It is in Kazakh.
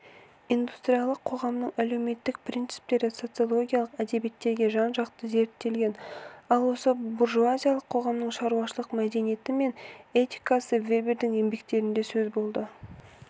индустриялық қоғамның әлеуметтік принциптері социологиялық әдебиеттерде жан-жақты зерттелген ал осы буржуазиялық қоғамның шаруашылық мәдениеті мен этикасы вебердің еңбектерінде сөз болады